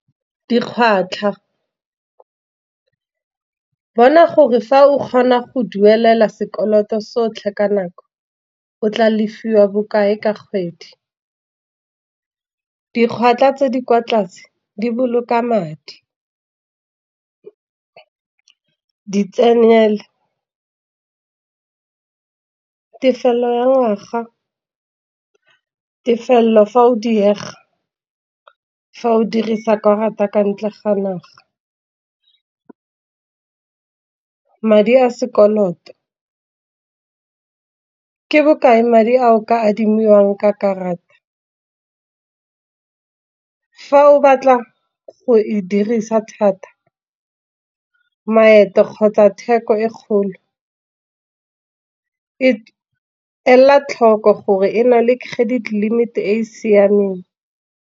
Dikgwatlha bona gore fa o kgona go duelela sekoloto sotlhe ka nako o tla lefiwa bokae ka kgwedi. Dikgwatlha tse di kwa tlase, di boloka madi, di tsenele tefelo ya ngwaga. Tefelo fa o diega fa o dirisa karata ka ntle ga naga, madi a sekoloto, ke bokae madi a o ka adimiwang ka karata. Fa o batla go e dirisa thata, maeto kgotsa theko e kgolo e ela tlhoko gore e na le credit limit e e siameng.